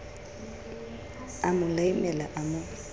a mo laimela a mo